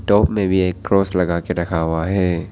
Top में भी एक क्रॉस लगा के रखा हुआ है।